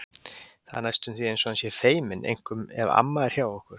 Það er næstum því eins og hann sé feiminn, einkum ef amma er hjá okkur.